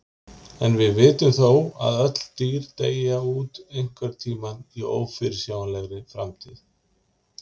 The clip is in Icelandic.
En við vitum þó að öll dýr deyja út einhvern tímann í ófyrirsjáanlegri framtíð.